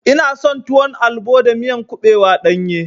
Ina son tuwon albo da miya kuɓewa ɗanye.